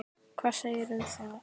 Hvað segirðu um það?